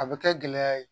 A bɛ kɛ gɛlɛya ye